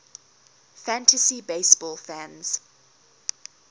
fantasy baseball fans